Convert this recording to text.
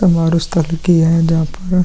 उस स्थल की है जहाँ पर।